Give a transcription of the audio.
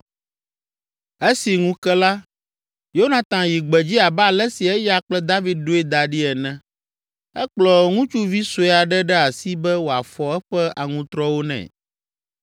Esi ŋu ke la, Yonatan yi gbedzi abe ale si eya kple David ɖoe da ɖi ene. Ekplɔ ŋutsuvi sue aɖe ɖe asi be wòafɔ eƒe aŋutrɔwo nɛ.